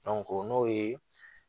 o n'o ye